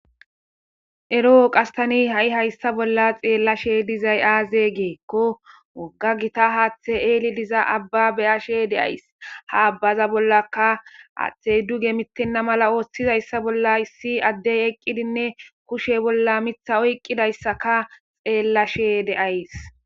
ero qas tani ha7i hayssa bolla xeellashe dizay aaze geekko wogga gita haaththe eeli diza abba beyashe deays ha abbaza bollaka aaththey duge mittenna mala ooththizayssa bolla issi addey eqqidinne kushe bolla mitha oyqqidayssaka xeellashe deays